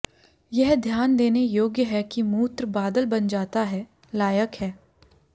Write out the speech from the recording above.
यह ध्यान देने योग्य है कि मूत्र बादल बन जाता है लायक है